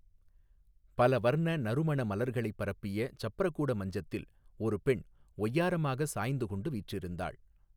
பல வர்ண நறுமண மலர்களைப் பரப்பிய சப்ரகூட மஞ்சத்தில் ஒரு பெண் ஒய்யாரமாக சாய்ந்து கொண்டு வீற்றிருந்தாள்.